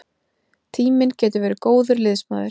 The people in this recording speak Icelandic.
Tíminn getur verið góður liðsmaður.